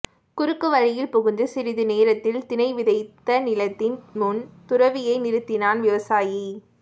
குறுக்கு வழியில் புகுந்து சிறிது நேரத்தில் திணை விதைத்த நிலத்தின் முன் துறவியை நிறுத்தினான் விவசாயி